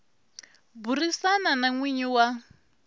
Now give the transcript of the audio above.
burisana na n winyi wa